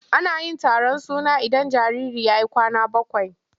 Ana yin taron suna idan jariri ya yi kwana bakwai.